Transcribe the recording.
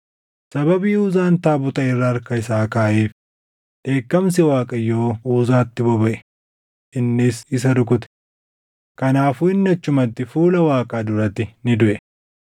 Sababii Uzaan taabota irra harka isaa kaaʼeef dheekkamsi Waaqayyoo Uzaatti bobaʼe; innis isa rukute; kanaafuu inni achumatti fuula Waaqaa duratti ni duʼe.